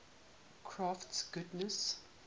crafts goddesses